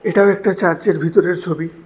এটাও একটা চার্চের ভিতরের ছবি।